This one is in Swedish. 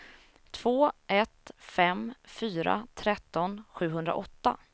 två ett fem fyra tretton sjuhundraåtta